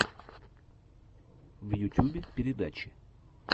в ютюбе передачи